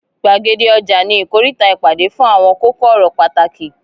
Gbàgede ọja ni ikoríta ìpàdé fún àwọn kókó ọ̀rọ̀ pàtàkì.